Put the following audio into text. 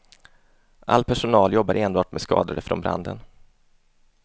All personal jobbar enbart med skadade från branden.